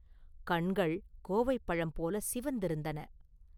கண்கள் கோவைப் பழம் போலச் சிவந்திருந்தன.